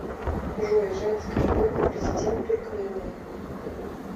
джой женская форма президент туркмении